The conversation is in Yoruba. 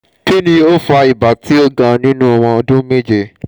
kini o fa iba ti o ga ninu ọmọ ọdun meje?